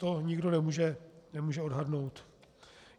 To nikdo nemůže odhadnout.